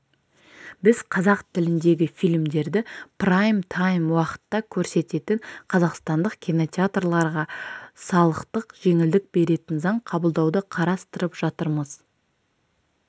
біз қазақ тіліндегі фильмдерді прайм-тайм уақытта көрсететін қазақстандық кинотеатрларға салықтық жеңілдік беретін заң қабылдауды қарастырып жатырмыз